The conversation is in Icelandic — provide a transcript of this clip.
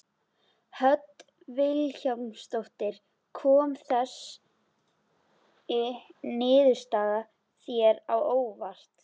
Hödd Vilhjálmsdóttir: Kom þessi niðurstaða þér á óvart?